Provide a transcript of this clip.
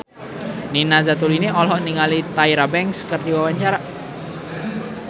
Nina Zatulini olohok ningali Tyra Banks keur diwawancara